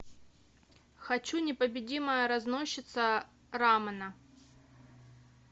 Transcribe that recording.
хочу непобедимая разносчица рамена